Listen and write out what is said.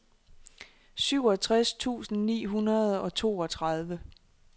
syvogtres tusind ni hundrede og toogtredive